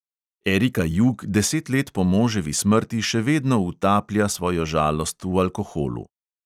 Erika jug deset let po moževi smrti še vedno utaplja svojo žalost v alkoholu.